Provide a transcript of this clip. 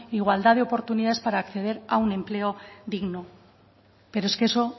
igualdad de oportunidades para acceder a un empleo digno pero es que eso